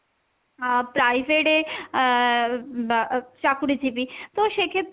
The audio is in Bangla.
আহ private এ আহ বা চাকরিজীবী তো সেক্ষেত্রে,